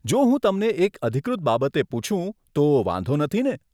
જો હું તમને એક અધિકૃત બાબતે પુછું, તો વાંધો નથીને?